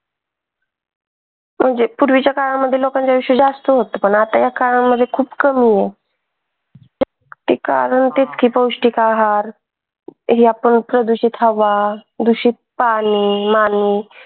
म्हणजे पूर्वीच्या काळामध्ये लोकांच आयुष्य जास्त होत पण आताच्या काळामध्ये खूप कमी आहे. हे आपण दुषित हवा, दुषित पाणी